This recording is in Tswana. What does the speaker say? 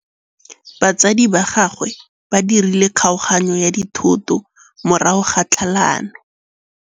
Batsadi ba gagwe ba dirile kgaoganyô ya dithoto morago ga tlhalanô.